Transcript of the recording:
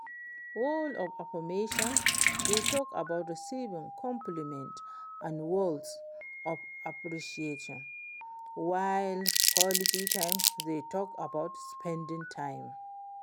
Words of affirmation dey talk about receiving compliments and words of appreciation while quality time dey talk about spending time.